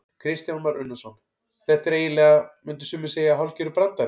Kristján Már Unnarsson: Þetta er eiginlega, myndu sumir segja hálfgerður brandari?